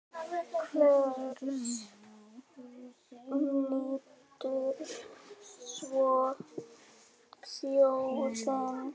Hvers nýtur svo þjóðin?